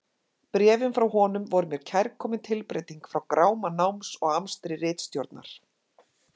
Bréfin frá honum voru mér kærkomin tilbreyting frá gráma náms og amstri ritstjórnar.